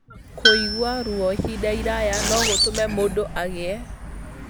Kũigua ruo ihinda iraya no gũtũme mũndũ agĩe